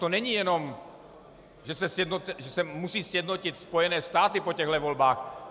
To není jenom, že se musí sjednotit Spojené státy po těchto volbách.